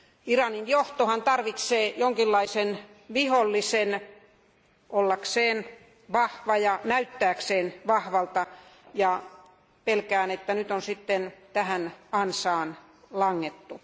Iranin johtohan tarvitsee jonkinlaisen vihollisen ollakseen vahva ja näyttääkseen vahvalta, ja pelkään, että nyt on sitten tähän ansaan langettu.